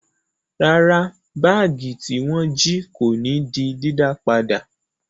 Rárá, báágì tí wọ́n jí kò ní di dídá padà.